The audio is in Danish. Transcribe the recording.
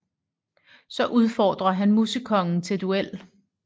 Så udfordrer han Musekongen til duel